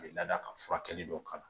A bɛ lada ka furakɛli dɔw kalan